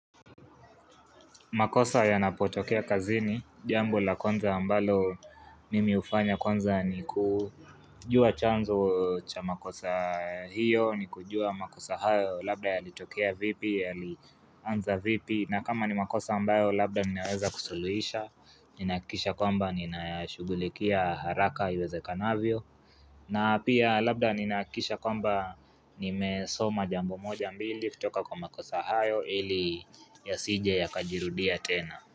Makosa ya napotokea kazini, jambo la kwanza ambalo mimi hufanya kwanza ni kujua chanzo cha makosa hiyo, ni kujua makosa hayo, labda ya metokea vipi, ya ani anza vipi. Na kama ni makosa ambayo labda ninaweza kusuluhisha Ninahakikisha kwamba nina shugulikia haraka iweze kanavyo na pia labda ninahakikisha kwamba nimesoma jambo moja mbili kutoka kwa makosa hayo ili ya sije ya kajirudia tena.